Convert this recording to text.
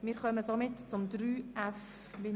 Wir kommen somit zum Punkt 3.f.